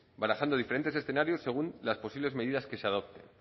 barajando diferentes escenarios según las posibles medidas que se adopten